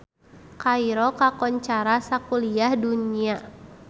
Kairo kakoncara sakuliah dunya